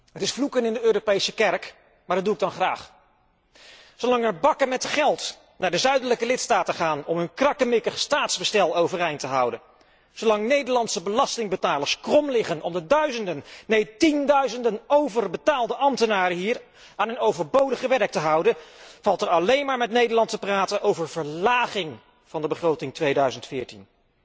Het is vloeken in de Europese kerk, maar dat doe ik dan graag. Zolang er bakken met geld naar de zuidelijke lidstaten gaan om hun krakkemikkig staatsbestel overeind te houden, zolang Nederlandse belastingbetalers krom liggen om de duizenden, neen tienduizenden overbetaalde ambtenaren hier aan hun overbodige werk te houden, valt er alleen maar met Nederland te praten over verlaging van de begroting 2014.